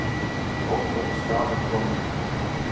Óbreytt staða krónunnar